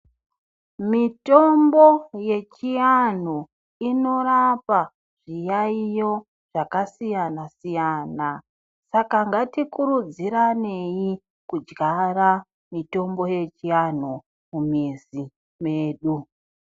Mitombo yechiantu inorapa zviyaiyo zvakasiyana siyana Saka ngatikurudziranei kudyara mimbiti yechianhu mumizi medu.